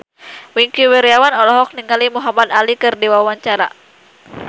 Wingky Wiryawan olohok ningali Muhamad Ali keur diwawancara